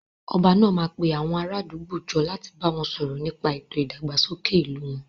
Ọba náà máa pe àwọn ará àdúgbò jọ láti bá wọn sọ̀rọ̀ nípa ètò ìdàgbàsókè ìlú wọn